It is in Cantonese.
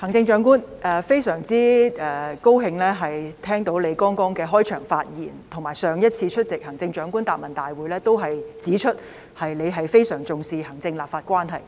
我非常高興聽到行政長官剛才的開場發言，而且她上次出席行政長官答問會時亦已指出她非常重視行政立法關係。